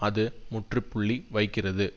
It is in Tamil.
அது முற்றுப்புள்ளி வைக்கிறது